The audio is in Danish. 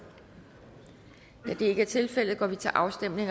da det ikke er tilfældet går vi til afstemning